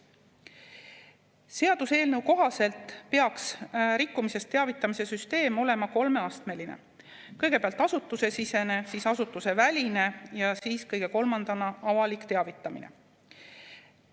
Seaduseelnõu kohaselt peaks rikkumisest teavitamise süsteem olema kolmeastmeline: kõigepealt asutusesisene, seejärel asutuseväline ja kolmandana avalik teavitamine.